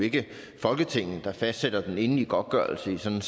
ikke er folketinget der fastsætter den endelige godtgørelse i sådan